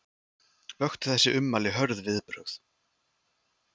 Vöktu þessi ummæli hörð viðbrögð